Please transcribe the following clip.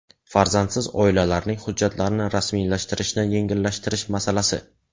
Farzandsiz oilalarning hujjatlarini rasmiylashtirilishini yengillashtirish masalasi.